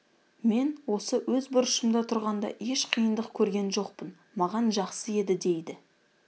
мен осы өз бұрышымда тұрғанда еш қиындық көрген жоқпын маған жақсы еді дейді